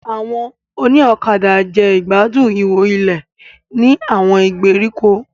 Àwọn òní ọ̀kadà jẹ́ ìgbádùn ihò ilé ní àwọn ìgbèríko.